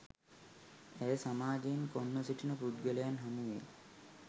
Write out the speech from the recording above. ඇය සමාජයෙන් කොන්ව සිටින පුද්ගලයන් හමුවේ